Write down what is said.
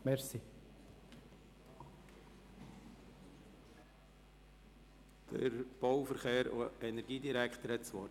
Das Wort hat der Bau-, Verkehrs- und Energiedirektor.